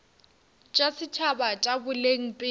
tša setšhaba tša boleng pele